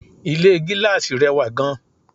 Ilé gíláàsì rẹwà gan